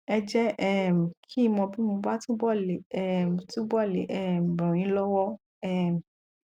ẹ jẹ um kí n mọ bí mo bá túbọ le um túbọ le um ràn yín lọwọ um